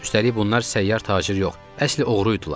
Üstəlik, bunlar səyyar tacir yox, əsl oğru idilər.